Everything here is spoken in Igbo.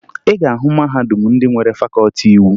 Ị ga-ahụ mahadum ndị nwere fakọọti iwu